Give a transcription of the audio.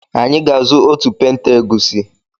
Anyị ga-azụ otu penta egusi.